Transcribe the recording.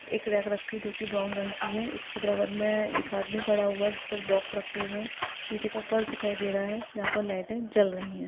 एक रॉक रखी है जो की ब्राउन रंग की है। उसके बराबर मे एक आदमी खड़ा हुआ है। जिस पे बॉक्स रखे हुए है। नीचे का फर्स दिखाई दे रहा है। यहाँ पर लाइटे जल रही है।